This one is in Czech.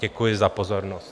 Děkuji za pozornost.